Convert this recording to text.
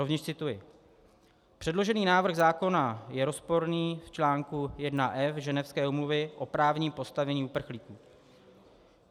Rovněž cituji: "Předložený návrh zákona je rozporný v článku 1F ženevské Úmluvy o právním postavení uprchlíků.